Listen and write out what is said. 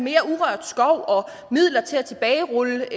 urørt skov og midler til at tilbagerulle